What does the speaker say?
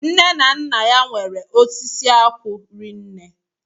Nne na Nna ya nwere osisi akwụ rinne